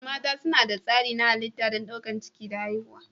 Mata suna da tsari na halitta don ɗaukar ciki da haihuwa.